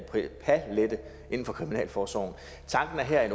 en for kriminalforsorgen tanken er her at